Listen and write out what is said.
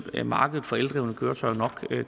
ville markedet for eldrevne køretøjer nok